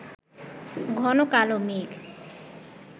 ঘন কালো মেঘ